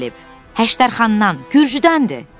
Həşdərxandan, Gürcüdəndir.